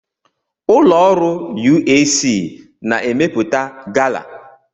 Ụlọ ọrụ UAC na-emepụta gala.